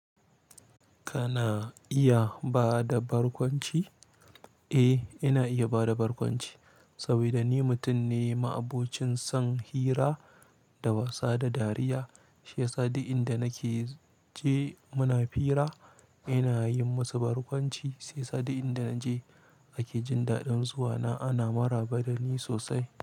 Kana iya bada barkwanci? Eh, ina iya bada barkwanci saboda ni mutum ne ma'abocin son hira da wasa da dariya. Shi yasa duk inda nake je muna hira, ina yi musu barkwanci. Shi yasa duk inda naje ake jin daɗin zuwana. Ana maraba dani sosai.